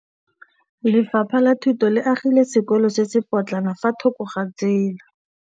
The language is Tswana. Lefapha la Thuto le agile sekôlô se se pôtlana fa thoko ga tsela.